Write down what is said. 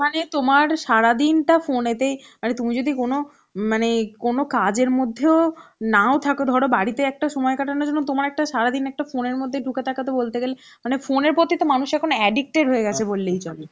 মানে তোমার সারাদিনটা phone এ তেই মানে তুমি যদি কোনো মানে কোনো কাজের মধ্যেও নাও থাকো ধর বাড়িতে একটা সময় কাটানোর জন্য তোমার একটা সারাদিন একটা phone এর মধ্যেই ঢুকে থাকাতো বলতে গেলে মানে phone এর প্রতি তো মানুষ addicted গেছে বললেই চলে